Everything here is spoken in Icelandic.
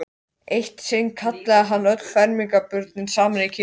Eitt sinn kallaði hann öll fermingarbörnin saman í kirkjunni.